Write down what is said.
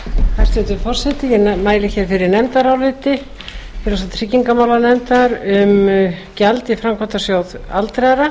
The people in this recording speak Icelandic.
hæstvirtur forseti ég mæli hér fyrir nefndaráliti félags og tryggingamálanefndar um gjald í framkvæmdasjóð aldraðra